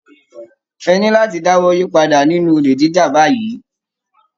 Ẹ ní láti dáwọ́ yípadà nínú olè jíjà báyìí.